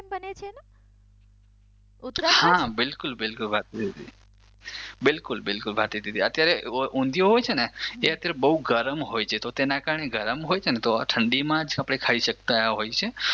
હા બિલકુલ બિલકુલ ભારતીદીદી બિલકુલ બિલકુલ ભારતીદીદી અત્યારે ઊંધિયું હોય છે ને એ અત્યારે બઉ ગરમ હોય છે તો તેના કારણે ગરમ હોય છે ને તો આ ઠંડી માંજ આપણે ખાઈ સકતા હોયીએ છીએ.